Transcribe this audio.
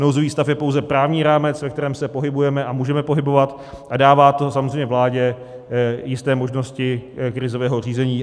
Nouzový stav je pouze právní rámec, ve kterém se pohybujeme a můžeme pohybovat, a dává to samozřejmě vládě jisté možnosti krizového řízení.